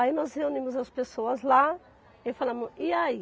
Aí nós reunimos as pessoas lá e falamos, e aí?